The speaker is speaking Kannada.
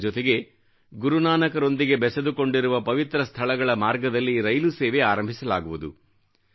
ಇದರ ಜೊತೆಗೆ ಗುರುನಾನಕರೊಂದಿಗೆ ಬೆಸೆದುಕೊಂಡಿರುವ ಪವಿತ್ರ ಸ್ಥಳಗಳ ಮಾರ್ಗದಲ್ಲಿ ರೈಲು ಸೇವೆ ಆರಂಭಿಸಲಾಗುವುದು